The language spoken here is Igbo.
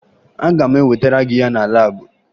Aga m ewetara gị ya na laabụ